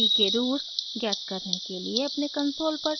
p के roots मूल ज्ञात करने के लिए अपने कंसोल पर टाइप करें